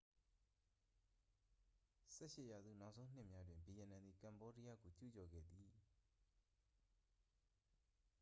18 ရာစု နောက်ဆုံးနှစ်များတွင် ဗီယက်နမ်သည် ကမ္ဘောဒီးယားကို ကျူးကျော်ခဲ့သည်